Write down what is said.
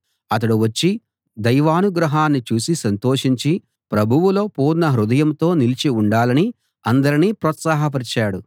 అతడు వచ్చి దైవానుగ్రహాన్ని చూసి సంతోషించి ప్రభువులో పూర్ణ హృదయంతో నిలిచి ఉండాలని అందరినీ ప్రోత్సాహపరిచాడు